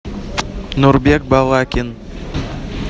нурбек балакин